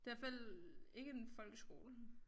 Det hvert fald ikke en folkeskole